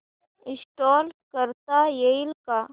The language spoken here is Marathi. इंस्टॉल करता येईल का